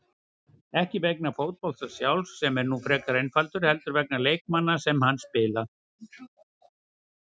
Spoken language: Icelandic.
Ekki vegna fótboltans sjálfs, sem er nú frekar einfaldur, heldur vegna leikmanna sem hann spila.